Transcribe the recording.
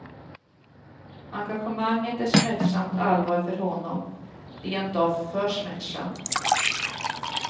Engagemanget är smärtsamt allvar för honom, rent av för smärtsamt.